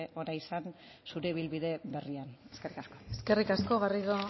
ona izan zure ibilbide berrian eskerrik asko eskerrik asko garrido